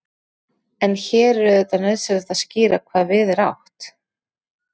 en hér er auðvitað nauðsynlegt að skýra hvað við er átt